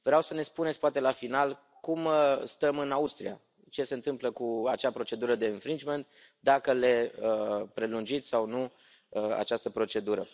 Vreau să ne spuneți, poate la final, cum stăm în Austria, ce se întâmplă cu acea procedură de dacă le prelungiți sau nu această procedură.